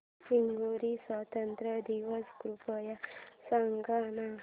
Hungary स्वातंत्र्य दिवस कृपया सांग ना